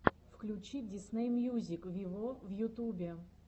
включи дисней мьюзик виво в ютубе